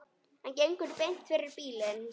Hann gengur beint fyrir bílinn.